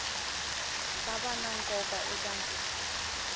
ta va na nkoka eka